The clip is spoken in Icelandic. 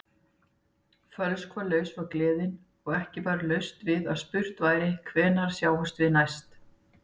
Fölskvalaus var gleðin og ekki var laust við að spurt væri: Hvenær sjáumst við næst?